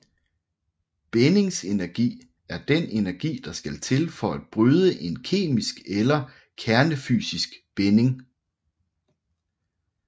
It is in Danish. Bindingsenergi er den energi der skal til for at bryde en kemisk eller kernefysisk binding